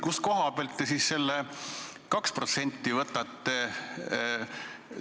Kust koha pealt te siis selle 2% võtate?